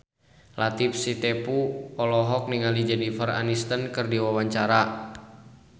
Latief Sitepu olohok ningali Jennifer Aniston keur diwawancara